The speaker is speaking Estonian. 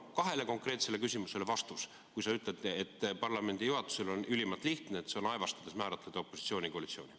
Palun kahele konkreetsele küsimusele vastust, kui sa ütled, et parlamendi juhatusele on ülimalt lihtne, nagu aevastades määratleda opositsiooni ja koalitsiooni.